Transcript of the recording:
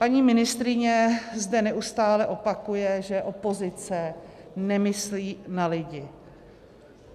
Paní ministryně zde neustále opakuje, že opozice nemyslí na lidi.